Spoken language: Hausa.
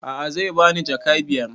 A'a zai bani jaka biyar